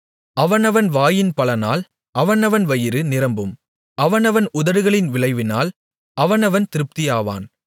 அவனவன் வாயின் பலனால் அவனவன் வயிறு நிரம்பும் அவனவன் உதடுகளின் விளைவினால் அவனவன் திருப்தியாவான்